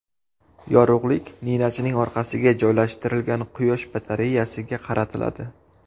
Yorug‘lik ninachining orqasiga joylashtirilgan quyosh batareyasiga qaratiladi.